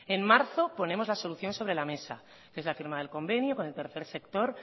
en marzo ponemos la solución sobre la mesa que es la firma del convenio con el tercer sector